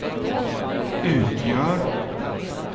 utgör